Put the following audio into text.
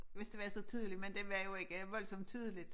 Hvis det var så tydeligt men det var jo ikke voldsomt tydeligt